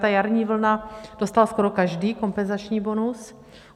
Ta jarní vlna - dostal skoro každý kompenzační bonus.